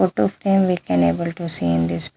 Photo frame we can able to see in this --